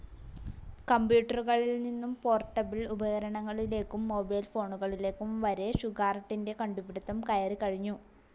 കമ്പ്യൂട്ടറുകളിൽ നിന്നും പോർട്ടബിൾ ഉപകരണങ്ങളിലേക്കും മൊബൈൽ ഫോണുകളിലേക്കും വരെ ഷുഗാർട്ടിൻറെ കണ്ടുപിടിത്തം കയറികഴിഞ്ഞു.